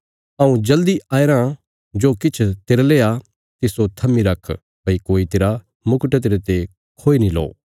हऊँ जल्दी आया रां जो किछ तेरले आ तिस्सो थम्मी रख भई कोई तेरा मुकट तेरते खोई नीं लओ